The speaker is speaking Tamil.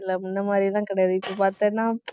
இல்ல முன்ன மாதிரி எல்லாம் கிடையாது. இப்ப பார்த்தேன்னா